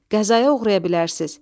Qəzaya uğraya bilərsiz.